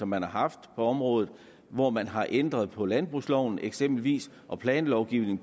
man har haft på området hvor man har ændret på landbrugsloven eksempelvis og planlovgivningen